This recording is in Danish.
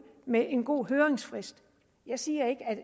med en god høringsfrist jeg siger ikke at